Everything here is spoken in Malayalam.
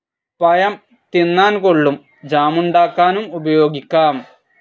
പഴം തിന്നാൻ കൊള്ളും ജാമുണ്ടാക്കാനും ഉപയോഗിക്കാം.